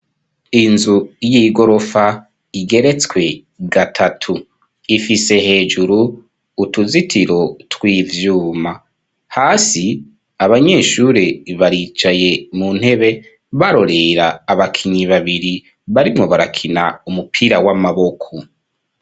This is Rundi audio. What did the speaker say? Inzu y'igorofa igeretswe gatatu, ifise hejuru utuzitiro tw'ivyuma, hasi abanyeshuri baricaye mu ntebe barorera abakinyi babiri, barimwo barakina umupira w'amaboko.